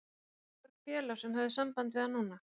En voru mörg félög sem höfðu samband við hann núna?